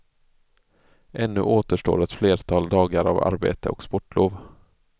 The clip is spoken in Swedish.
Ännu återstår ett flertal dagar av arbete och sportlov.